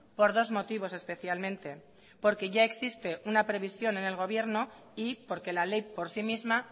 por dos motivos especialmente porque ya existe una previsión el gobierno y porque la ley por sí misma